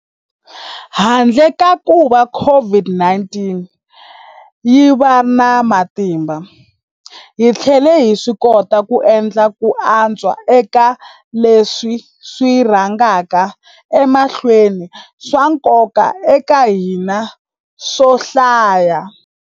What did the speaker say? Handle ka kuva COVID-19 yi va na matimba, hi tlhele hi swikota ku endla ku antswa eka leswi swi rhangaka emahlweni swa nkoka eka hina swo hlaya.